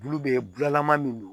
Bulu bɛ bulalama min don